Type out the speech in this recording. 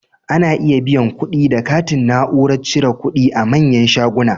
Ana iya biyan kuɗi da katin Na'urar cire kudi a manyan shuguna